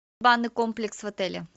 банный комплекс в отеле